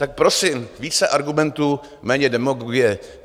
Tak prosím více argumentů, méně demagogie.